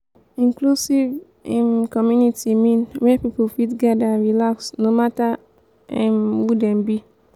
inclusive um community mean where pipo fit gadir relax no matter um who dem be.